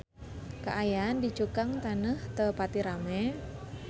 Kaayaan di Cukang Taneuh teu pati rame